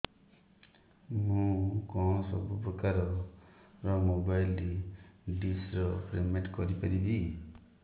ମୁ କଣ ସବୁ ପ୍ରକାର ର ମୋବାଇଲ୍ ଡିସ୍ ର ପେମେଣ୍ଟ କରି ପାରିବି